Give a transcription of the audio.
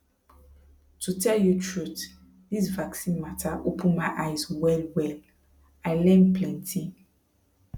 to tell you truth this vaccine matter open my eye wellwell i learn plenty